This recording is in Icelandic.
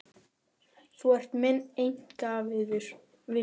Þú ert minn einkavinur.